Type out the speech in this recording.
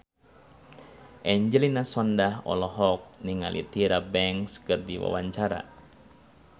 Angelina Sondakh olohok ningali Tyra Banks keur diwawancara